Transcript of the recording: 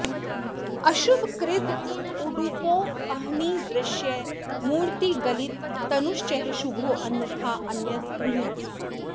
अशुभ कृद् उडुपोऽह्नि दृश्य मूर्तिर्गलित तनुश्च शुभोऽन्यथान्यद् ऊह्यम्